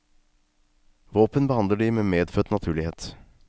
Våpen behandler de med medfødt naturlighet.